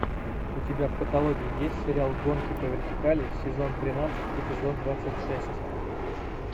у тебя в каталоге есть сериал гонки по вертикали сезон тринадцать эпизод двадцать шесть